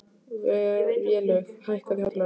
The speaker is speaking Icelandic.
Vélaug, hækkaðu í hátalaranum.